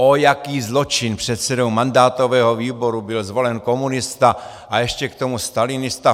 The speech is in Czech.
Ó, jaký zločin, předsedou mandátového výboru byl zvolen komunista a ještě k tomu stalinista!